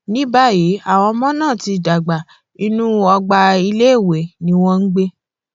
ní báyìí àwọn ọmọ náà ti dàgbà inú ọgbà iléèwé ni wọn ń gbé